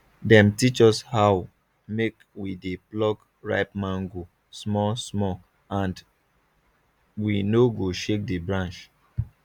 dem teach us how make we dey pluck ripe mango small smalland we no go shake the branch